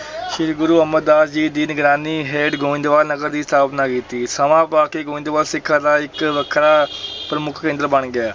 ਸ੍ਰੀ ਗੁਰੂ ਅਮਰਦਾਸ ਜੀ ਦੀ ਨਿਗਰਾਨੀ ਹੇਠ ਗੋਇੰਦਵਾਲ ਨਗਰ ਦੀ ਸਥਾਪਨਾ ਕੀਤੀ, ਸਮਾਂ ਪਾ ਕੇ ਗੋਇੰਦਵਾਲ ਸਿੱਖਾਂ ਦਾ ਇੱਕ ਵੱਖਰਾ ਪ੍ਰਮੁੱਖ ਕੇਂਦਰ ਬਣ ਗਿਆ।